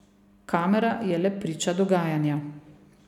Kamera je le priča dogajanja.